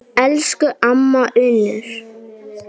Elsku amma Unnur.